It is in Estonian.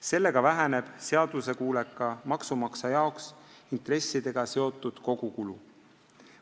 Sellega väheneb seaduskuuleka maksumaksja intressidega seotud kogukulu.